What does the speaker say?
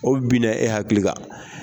O binna e hakili kan.